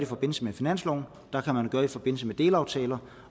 forbindelse med finansloven der kan man gøre det i forbindelse med delaftaler